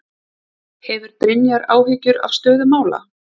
Hefur Brynjar áhyggjur af stöðu mála?